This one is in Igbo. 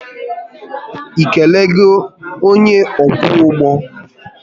ị kelego onye ọkwọ ụgbọ?